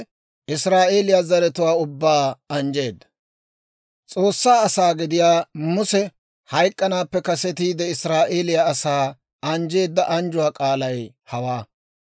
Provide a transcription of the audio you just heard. S'oossaa asaa gidiyaa Muse hayk'k'anaappe kasetiide, Israa'eeliyaa asaa anjjeedda anjjuwaa k'aalay hawaa.